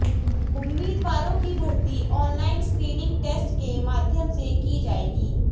उम्मीदवारों की भर्ती ऑनलाइन स्क्रीनिंग टेस्ट के माध्यम से की जाएगी